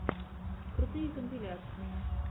крутые компиляции